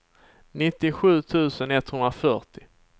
nittiosju tusen etthundrafyrtio